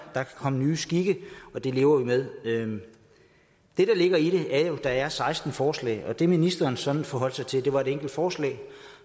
kan komme nye skikke og det lever vi med det der ligger i det er jo at der er seksten forslag og det ministeren sådan forholdt sig til var et enkelt forslag